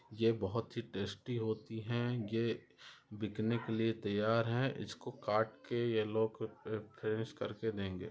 ये बहुत ही टेस्टी होती है ये बिकने के लिए तैयार है इसको काट के ये लोग फ्रेश कर के देंगे।